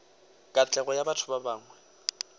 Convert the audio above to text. katlego ya batho ba bangwe